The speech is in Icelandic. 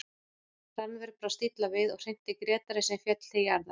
Rannver brást illa við og hrinti Grétari sem féll til jarðar.